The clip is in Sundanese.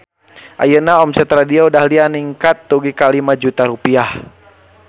Ayeuna omset Radio Dahlia ningkat dugi ka 5 juta rupiah